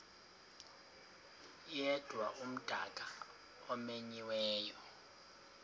yedwa umdaka omenyiweyo